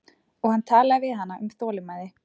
Og hann talaði við hana um þolinmæði.